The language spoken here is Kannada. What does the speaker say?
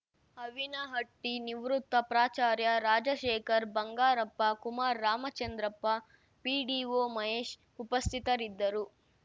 ಅವಿನಹಟ್ಟಿನಿವೃತ್ತ ಪ್ರಾಚಾರ್ಯ ರಾಜಶೇಖರ್‌ ಬಂಗಾರಪ್ಪ ಕುಮಾರ್‌ ರಾಮಚಂದ್ರಪ್ಪ ಪಿಡಿಒ ಮಹೇಶ್‌ ಉಪಸ್ಥಿತರಿದ್ದರು